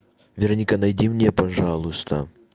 вероника найди мне пожалуйста